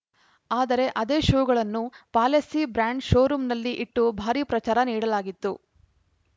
ಆದರೆ ಅದೇ ಶೂಗಳನ್ನು ಪಾಲೆಸ್ಸಿ ಬ್ರ್ಯಾಂಡ್‌ ಶೋ ರೂಮ್‌ನಲ್ಲಿ ಇಟ್ಟು ಭಾರೀ ಪ್ರಚಾರ ನೀಡಲಾಗಿತ್ತು